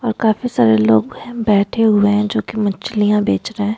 और काफी सारे लोग है बैठे हुए है जो की मछलिया बेच रहे --